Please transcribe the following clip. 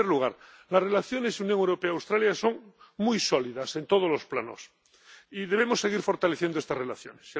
En primer lugar, las relaciones Unión Europea Australia son muy sólidas en todos los planos y debemos seguir fortaleciendo estas relaciones.